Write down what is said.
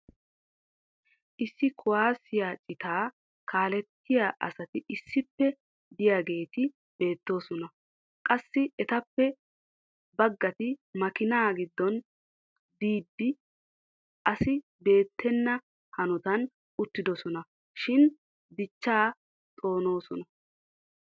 issi kuwaassiya citaa kaalettiyaa asati issippe diyaageeti beetoosona. qassi etappe baggati makiinaa giddon diidi asi beetenna hanotan uttidosona shin dichchaa xoonosona.